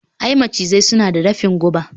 i, macizai suna da dafin guba